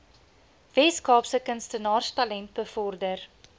weskaapse kunstenaarstalent bevorder